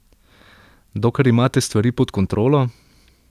Dokler imate stvari pod kontrolo ...